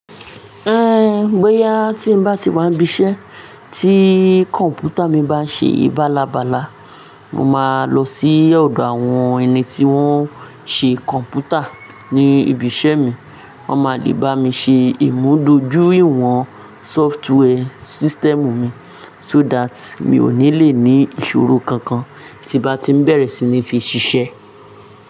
Ehn, bóyá tí n bá ti máa ń bí iṣẹ́ tí kọ̀m̀pútà mi bá ń ṣe ìbálabàla, mo máa lọ sí ọ̀dọ̀ àwọn ẹni tí wọ́n ń ṣe kọ̀m̀pútà ní ibi iṣẹ́ mi. Wọ́n máa lè bá mi ṣe ìmúdójúìwọ̀n sọftíwẹ́ system mi so that mi ò ní lè ní ìṣòro kankan tí bá ti ń bẹ̀rẹ̀ sí ní fi ṣiṣẹ́.